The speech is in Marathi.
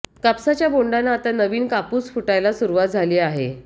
कापसाच्या बोंडाना आता नवीन कापूस फुटायला सुरुवात झाली आहे